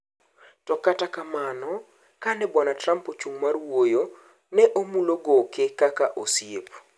To kata kamano kane Bwana Trump ochung' mar wuoyo ,ne moulo goke kaka osiep